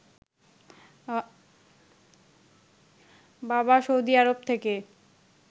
বাবা সৌদি আরব থেকে